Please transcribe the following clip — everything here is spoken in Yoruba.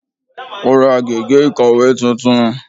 Ó ra gègé ìkọ̀wé titun